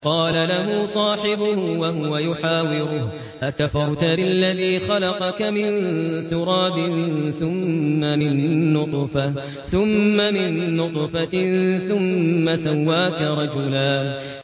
قَالَ لَهُ صَاحِبُهُ وَهُوَ يُحَاوِرُهُ أَكَفَرْتَ بِالَّذِي خَلَقَكَ مِن تُرَابٍ ثُمَّ مِن نُّطْفَةٍ ثُمَّ سَوَّاكَ رَجُلًا